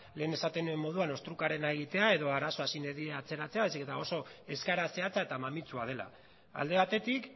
lehen esaten nuen moduan ostrukarena egitea edo arazoa sine die atzeratzea baizik eta oso eskaera zehatza eta mamitsua dela alde batetik